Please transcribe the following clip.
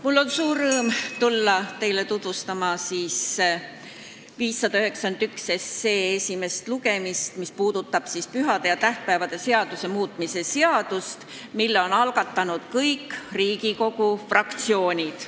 Mul on suur rõõm tutvustada teile esimesel lugemisel eelnõu 591, mis käsitleb pühade ja tähtpäevade seaduse muutmist, mille on algatanud kõik Riigikogu fraktsioonid.